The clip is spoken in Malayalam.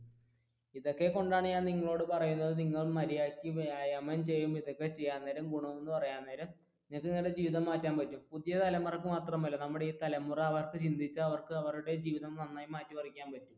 ഇതൊക്കെ കൊണ്ടാണ് ഞാൻ നിങ്ങളോട് പറയുന്നത് നിങ്ങൾ മര്യാദക്ക് വ്യായാമം ചെയ്യും ഇതൊക്കെ ചെയ്യാൻ നേരം ഗുണം എന്ന് പറയാൻ നേരം നിങ്ങൾക്ക് നിങ്ങളുടെ ജീവിതം മാറ്റാൻ പറ്റും പുതിയ തലമുറക്ക് മാത്രമല്ല നമ്മുടെ ഈ തലമുറ അവർക്ക് ചിന്തിച്ചാൽ അവരുടെ ജീവിതം നന്നായി മാറ്റി മറിക്കാൻ പറ്റും